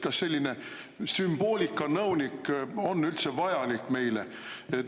Kas selline sümboolikanõunik on üldse vajalik meile?